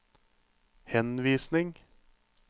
henvisning